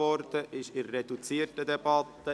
Wir führen eine reduzierte Debatte.